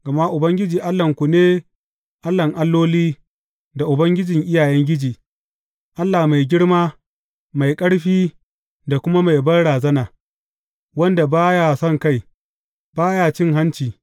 Gama Ubangiji Allahnku ne Allahn alloli da Ubangijin iyayengiji, Allah mai girma, mai ƙarfi da kuma mai banrazana, wanda ba ya sonkai, ba ya cin hanci.